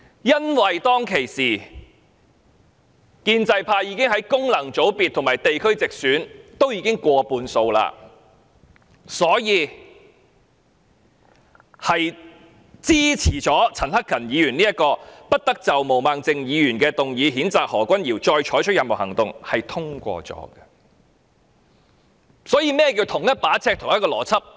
因為當時建制派已在功能界別和地區直選取得過半數議席，所以支持陳克勤議員這項不得就毛孟靜議員動議譴責何君堯議員的議案再採取任何行動，議案結果獲得通過。